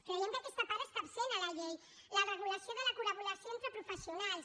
creiem que aquesta part està absent a la llei la regulació de la col·laboració entre professionals